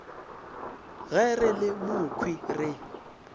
ge re le mokhwi re